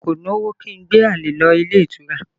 Èmi kò lówó kí n gbé àlè lọ ilé ìtura